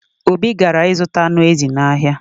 Obi gara ịzụta anụ ezi n’ahịa